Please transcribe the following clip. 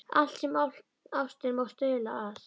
Allt sem ástin má stuðla að.